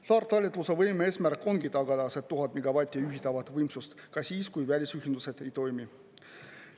Saartalitluse võime eesmärk ongi tagada see 1000 megavatti juhitavat võimsust ka siis, kui välisühendused ei toimi.